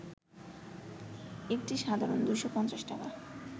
একটি সাধারণ, ২৫০ টাকা